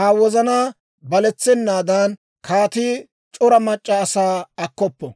Aa wozanaa baletsennaadan, kaatii c'ora mac'c'a asaa akkoppo.